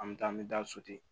An bɛ taa an bɛ taa so ten